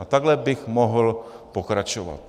A takhle bych mohl pokračovat.